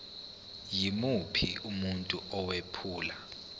yimuphi umuntu owephula